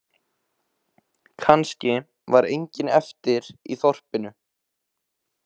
Kannski var enginn eftir í þorpinu.